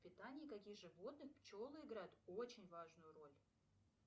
в питании каких животных пчелы играют очень важную роль